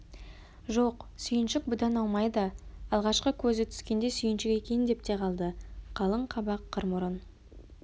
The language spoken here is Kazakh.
жоқ сүйіншік бұдан аумайды алғашқы көзі түскенде сүйіншік екен деп те қалды қалың қабақ қыр мұрын